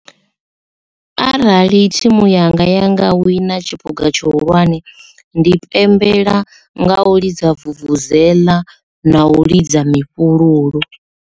Arali thimu yanga ya nga wina tshiphuga tshihulwane ndi pembela nga u lidza vuvuzeḽa na u lidza mifhululu.